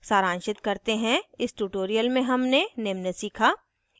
सारांशित करते हैं इस ट्यूटोरियल में हमने निम्न सीखा